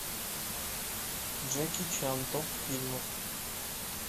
джеки чан топ фильмов